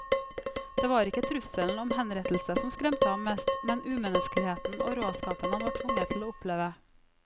Det var ikke trusselen om henrettelse som skremte ham mest, men umenneskeligheten og råskapen han var tvunget til å oppleve.